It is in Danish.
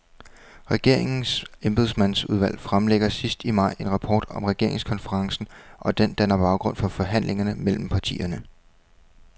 Regeringens embedsmandsudvalg fremlægger sidst i maj en rapport om regeringskonferencen, og den danner baggrund for forhandlingerne mellem partierne.